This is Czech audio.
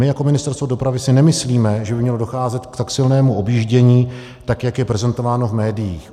My jako Ministerstvo dopravy si nemyslíme, že by mělo docházet k tak silnému objíždění, tak jak je prezentováno v médiích.